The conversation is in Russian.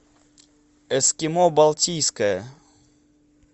эскимо балтийское